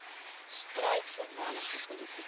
stryd voormalige politieke